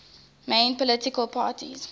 main political parties